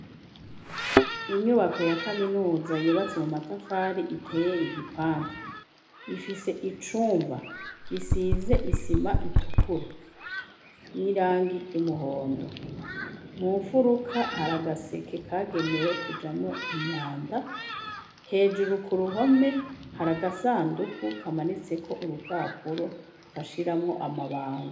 Inyubako ya kaminuza yubatse mu matafari iteye igipande, ifise icumba gisize isima itukura n'irangi ry'umuhondo, mu mfuruka hari agaseke kagenewe kujamwo imyanda, hejuru ku ruhome hari agasandugu kamanitseko urupapuro bashiramwo amabanga.